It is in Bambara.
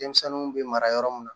Denmisɛnninw bɛ mara yɔrɔ min na